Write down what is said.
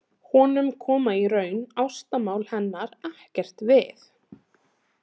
Honum koma í raun ástamál hennar ekkert við.